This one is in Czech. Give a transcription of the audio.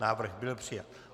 Návrh byl přijat.